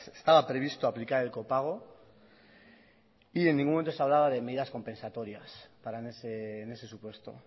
estaba previsto aplicar el copago y en ningún momento se hablaba de medidas compensatorias en ese supuesto